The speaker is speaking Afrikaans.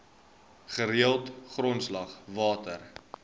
gereelde grondslag water